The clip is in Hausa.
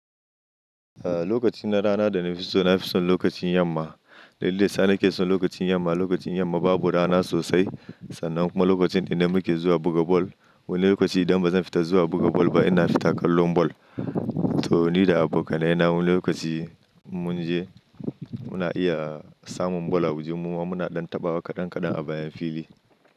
Lokacin na rana da na fito na fi son lokacin yamma. Dalilin sa nake son lokacin yamma, lokacin yamma babu rana sosai sannan kuma lokacin ne da muke zuwa buga bal. Wani lokaci idan ba zan fita zuwa buga bal ba ina fita kallon bal. To ni da abokanai na wannan lokaci in mun je muna iya samun ball a waje muma muna ɗan tabawa kaɗan kaɗan a bayan fili.